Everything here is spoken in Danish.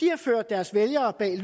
de har ført deres vælgere bag